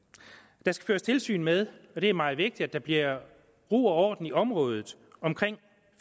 der skal føres tilsyn med og det er meget vigtigt at der bliver ro og orden i området omkring